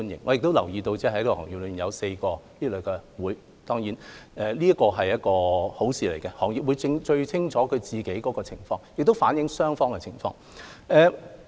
我亦留意到這個行業中有4個這類商會，當然，這是一件好事，行業會最清楚自己的情況，亦能反映雙方的情況。